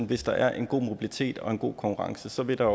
hvis der er en god mobilitet og en god konkurrence bliver der